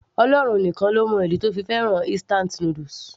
Ọlọ́run nìkan ló mọ ìdí tó fi fẹ́ràn instant noodles